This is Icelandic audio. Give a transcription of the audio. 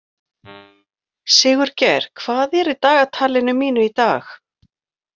Sigurgeir, hvað er í dagatalinu mínu í dag?